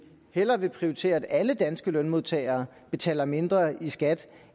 hellere vil prioritere at alle danske lønmodtagere betaler mindre i skat